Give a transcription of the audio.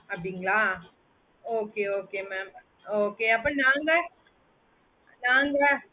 அப்டிங்களா okay okay mam okay அப்போ நாங்க நாங்க